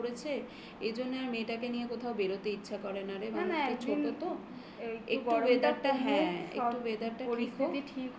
গরম পড়েছে. এজন্য আমি এই জন্যে আর মেয়েটাকে নিয়ে কোথাও বেরোতে ইচ্ছা করে না রে ছোট তো না না একটু weather টা হ্যাঁ